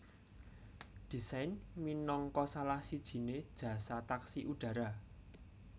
Dessain minangka salah sijine jasa taksi udara